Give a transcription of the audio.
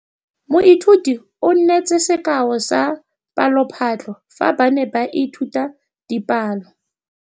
Moithuti o neetse sekaô sa palophatlo fa ba ne ba ithuta dipalo.